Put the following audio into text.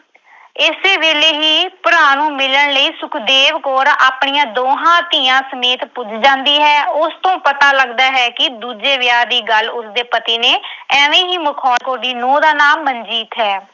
ਇਸੇ ਵੇਲੇ ਹੀ ਭਰਾ ਨੂੰ ਮਿਲਣ ਲਈ ਸੁਖਦੇਵ ਕੌਰ ਆਪਣੀਆਂ ਦੋਹਾਂ ਧੀਆਂ ਸਮੇਤ ਪੁੱਜ ਜਾਂਦੀ ਹੈ। ਉਸ ਤੋਂ ਪਤਾ ਲੱਗਦਾ ਹੈ ਕਿ ਦੂਜੇ ਵਿਆਹ ਦੀ ਗੱਲ ਉਸਦੇ ਪਤੀ ਨੇ ਐਵੇਂ ਹੀ ਮਖੌਲ ਅਹ ਦੀ ਨੂੰਹ ਦਾ ਨਾਂ ਮਨਜੀਤ ਹੈ